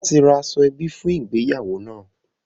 A ti ra aṣọ ẹbí fún ìgbéyàwó náà